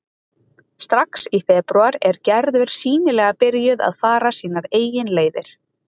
Strax í febrúar er Gerður sýnilega byrjuð að fara sínar eigin leiðir.